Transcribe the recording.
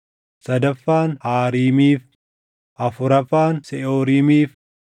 sadaffaan Haariimiif, afuraffaan Seʼooriimiif,